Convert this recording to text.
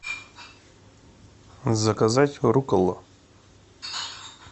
заказать руккола